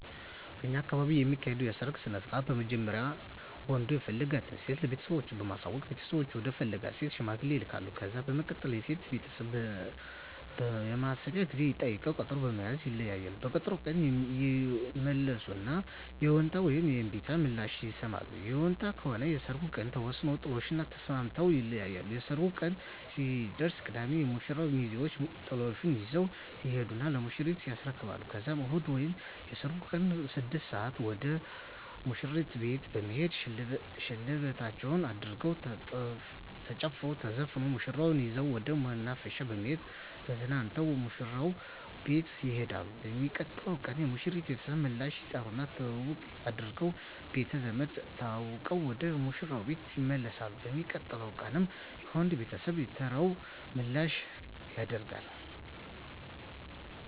በእኛ አካባቢ የሚካሄደዉ የሰርግ ስነስርአት በመጀመሪያ ወንዱ የፈለጋትን ሴት ለቤተሰቦቹ በማሳወቅ ቤተሰቦቹ ወደ ፈለጋት ሴት ሽማግሌ ይላካል። ከዛ በመቀጠል የሴቶቹ ቤተሰቦች የማሰቢያ ጊዜ ጠይቀዉ ቀጠሮ በመያዝ ይለያያሉ። በቀጠሮዉ ቀን ይመለሱና የይሁንታ ወይም የእምቢታ ምላሻቸዉን ይሰማሉ። ይሁንታ ከሆነ የሰርጉ ቀን ተወስኖ ጥሎሹን ተስማምተዉ ይለያያሉ። የሰርጉ ቀን ሲደርስ ቅዳሜ የሙሽሮቹ ሚዜወች ጥሎሹን ይዘዉ ይሄዱና ለሙሽሪት ያስረክባሉ ከዛም እሁድ ወይም የሰርጉ ቀን 6 ሰአት ወደ ሙሽሪት ቤት በመሄድ ሸለበታቸዉን አድርገዉ ተጨፍሮ ተዘፍኖ ሙሽራዋን ይዘዉ ወደ መናፈሻ በመሄድ ተዝናንተዉ ወደ ሙሽራዉ ቤት ይሄዳሉ። በሚቀጥለዉ ቀን የሙሽሪት ቤተሰብ ምላሽ ይጠሩና ትዉዉቅ አድርገዉ ቤተዘመድ ተዋዉቀዉ ወደ ሙሽራዉ ቤት ይመለሳሉ። በሚቀጥለዉ ቀንም የወንዱ ቤተሰብ በተራዉ ምላሽ ያደ